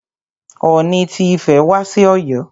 Ooni ti Ifẹ̀ wá sí Ọ̀yọ́.